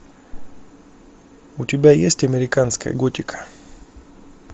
у тебя есть американская готика